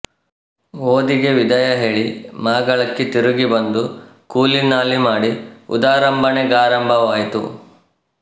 ಓದಿಗೆ ವಿದಾಯ ಹೇಳಿ ಮಾಗಳಕ್ಕೆ ತಿರುಗಿ ಬಂದು ಕೂಲಿನಾಲಿ ಮಾಡಿ ಉದರಂಭಣೆಗಾರಂಭವಾಯಿತು